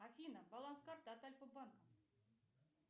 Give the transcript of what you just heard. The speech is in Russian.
афина баланс карты от альфа банка